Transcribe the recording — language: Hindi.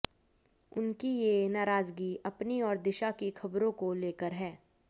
उनकी ये नाराजगी अपनी और दिशा की खबरों को लेकर है